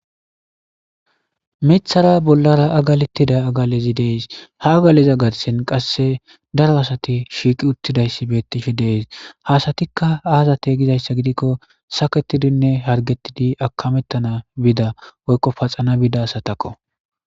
Mithara bollara agalettida agalezi dees. Ha agaleza garthen qasse daro asati shiiqi uttidayssi beettishe dees. Ha asatikka aazate gizayssa gidikko saketidinne hargettidi akamettana bida woykko paxana bida asatakko.